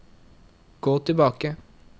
gå tilbake